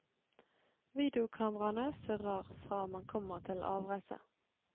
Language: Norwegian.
Videokameraene surrer fra man kommer til avreise.